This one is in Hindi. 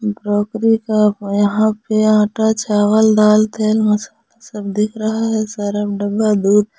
ब्रोकरी का यहां पे आटा चावल दाल तेल मसाला सब दिख रहा है सारा डब्बा दूर--